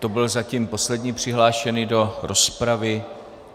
To byl zatím poslední přihlášený do rozpravy.